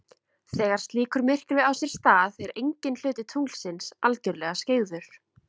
Þegar slíkur myrkvi á sér stað er enginn hluti tunglsins algjörlega skyggður.